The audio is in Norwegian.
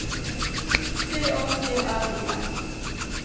C A T R I N